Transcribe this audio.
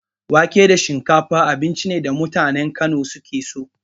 Wake da shinkafa abinci ne da mutanen Kano suke so.